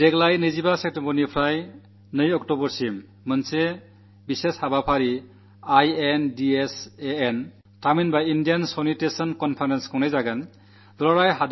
ഈ വർഷം സെപ്റ്റംബർ 25 മുതൽ ഒക്ടോബർ 2 വരെ ഒരു വിശേഷാൽ പരിപാടി ഇൻഡോസാൻ ഇന്ത്യാ സാനിട്ടേഷൻ കോൺഫറൻസ് സംഘടിപ്പിക്കുകയാണ്